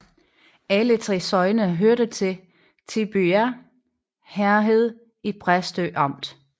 Alle 3 sogne hørte til Tybjerg Herred i Præstø Amt